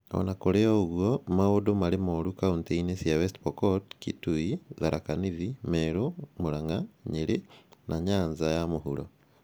O na kũrĩ ũguo, maũndũ marĩ moru kauntĩ-inĩ cia West Pokot, Kitui, Tharaka Nithi, Meru, Murang’a, Nyeri, na Nyanza ya mũhuro